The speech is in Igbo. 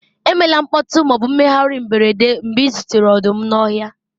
emela mkpọtụ ma ọ bụ mmegharị mberede mgbe ị zutere ọdụm n'ọhịa